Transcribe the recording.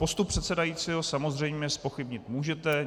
Postup předsedajícího samozřejmě zpochybnit můžete.